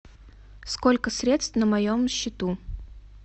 сколько средств на моем счету